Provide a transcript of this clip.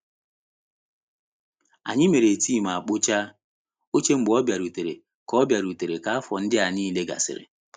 Anyị mere tii ma kpochaa oche mgbe ọ bịarutere ka ọ bịarutere ka afọ ndịa niile gasịrị.